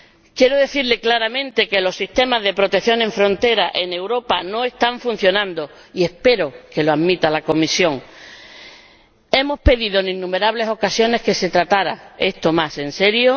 Quiero decirle claramente que los sistemas de protección en frontera, en Europa, no están funcionando y espero que la Comisión lo admita. Hemos pedido en innumerables ocasiones que se tratara esto más en serio.